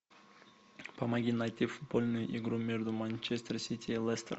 помоги найти футбольную игру между манчестер сити и лестер